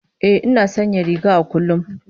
Ina sanya riga a kullum